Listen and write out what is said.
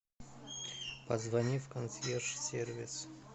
позвони в консьерж сервис